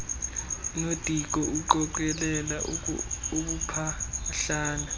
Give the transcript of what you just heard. nodiko uqokelela ubumpahlana